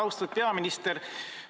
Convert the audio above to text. Austatud peaminister!